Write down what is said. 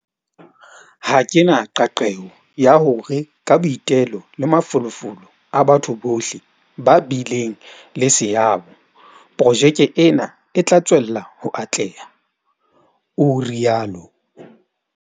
Ha ke na qeaqeo ya hore ka boitelo le mafolofolo a batho bohle ba bileng le seabo, projeke ena e tla tswella ho atleha, o rialo.